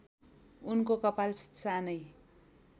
उनको कपाल सानै